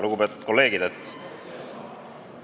Lugupeetud kolleegid!